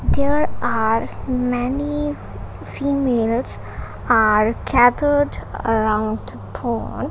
there are many females are gathered around pond.